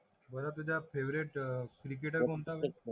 बरं तुझा favourite cricketer कोणता